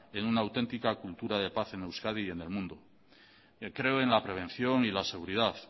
en una autentica cultura de paz en euskadi y en el mundo creo en la prevención y en la seguridad